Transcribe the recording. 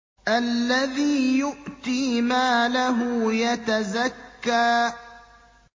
الَّذِي يُؤْتِي مَالَهُ يَتَزَكَّىٰ